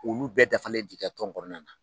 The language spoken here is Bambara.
Olu bɛɛ dafa ti kɛ tɔn kɔnɔna na